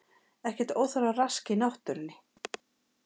Ekkert óþarfa rask í náttúrunni